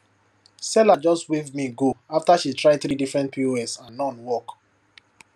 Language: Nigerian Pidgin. seller just wave me go after she try three different pos and none work